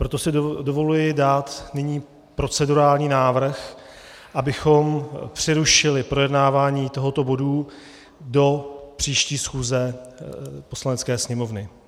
Proto si dovoluji dát nyní procedurální návrh, abychom přerušili projednávání tohoto bodu do příští schůze Poslanecké sněmovny.